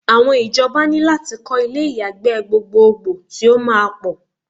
Awon ijoba ní lati ko ilé ìyàgbẹ́ gbogboogbo ti o máa pọ̀